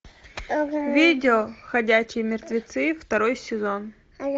видео ходячие мертвецы второй сезон